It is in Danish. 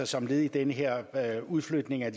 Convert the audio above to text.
som led i den her her udflytning af